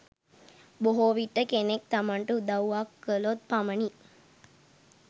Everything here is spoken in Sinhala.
බොහෝ විට කෙනෙක් තමන්ට උදව්වක් කළොත් පමණයි,